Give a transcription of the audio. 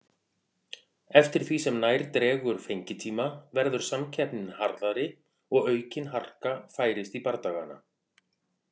Eftir því sem nær dregur fengitíma verður samkeppnin harðari og aukin harka færist í bardagana.